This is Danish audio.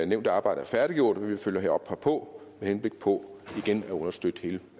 nævnte arbejde er færdiggjort vil vi følge op herpå med henblik på igen at understøtte hele